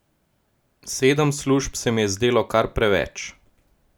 Sedem služb se mi je zdelo kar preveč.